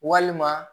Walima